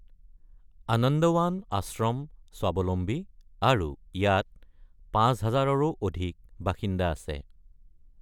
আনন্দৱান আশ্ৰম স্বাৱলম্বী আৰু ইয়াত ৫,০০০ ৰো অধিক বাসিন্দা আছে।